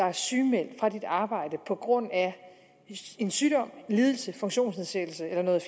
er sygemeldt fra sit arbejde på grund af en sygdom en lidelse en funktionsnedsættelse eller noget